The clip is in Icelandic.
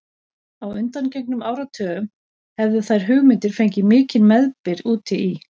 Á undangengnum áratugum hefðu þær hugmyndir fengið mikinn meðbyr úti í